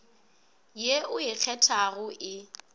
ye o e kgethago e